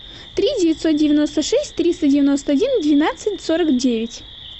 три девятьсот девяносто шесть триста девяносто один двенадцать сорок девять